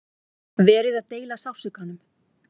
Verið að deila sársaukanum